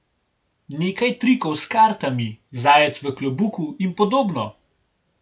Nekaj trikov s kartami, zajec v klobuku in podobno.